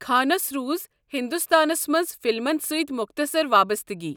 خانَس روٗز ہندوستانَس منٛز فِلمَن سۭتۍ مۄختصر وابسطگی ۔